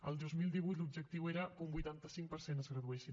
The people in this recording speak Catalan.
al dos mil divuit l’objectiu era que un vuitanta cinc per cent es graduessin